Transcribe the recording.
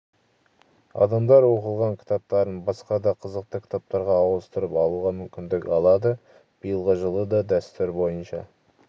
адамдар оқылған кітаптарын басқа да қызықты кітаптарға ауыстырып алуға мүмкіндік алады биылғы жылы да дәстүр бойынша